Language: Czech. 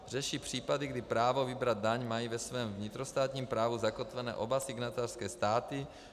Řeší případy, kdy právo vybrat daň mají ve svém vnitrostátním právu zakotvené oba signatářské státy.